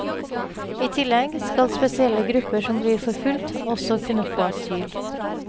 I tillegg skal spesielle grupper som blir forfulgt, også kunne få asyl.